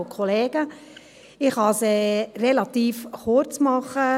Ich kann es relativ kurz machen.